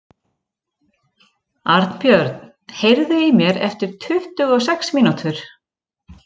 Arnbjörn, heyrðu í mér eftir tuttugu og sex mínútur.